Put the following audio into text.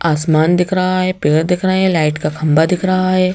आसमान दिख रहा है पेड़ दिख रहे हैं लाइट का खंबा दिख रहा है।